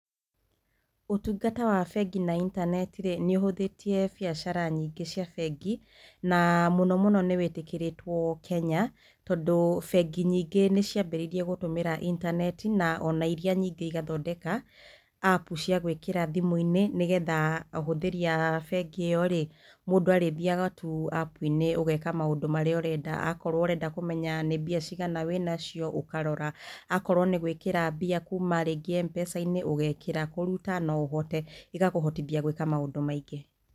Ũtungata wa bengi na intaneti rĩ nĩ ũhũthĩtie biacara nyingĩ cia bengi na mũno mũno nĩ wĩtĩkĩrĩtwo Kenya tondũ bengi nyingĩ nĩ cia mbĩrĩirie gũtũmĩra intaneti na iria nyingĩ igathondeka App cia gwĩkĩra thimũ-inĩ nĩgetha ahũthĩri aa bengi ĩyo rĩ mũndũ arĩ thiaga tu App inĩ ũgeka maũndũ marĩa ũrenda, akorwo ũrenda kũmenya nĩ mbia cigana wĩnacio ũkarora akorwo nĩ gwĩkĩra mbia kuma rĩngĩ M-Pesa inĩ ũgekĩra kũruta no ũhote, ĩgakũhotithia gwĩka maũndũ maingĩ.